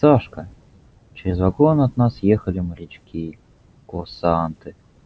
сашка через вагон от нас ехали морячки курсанты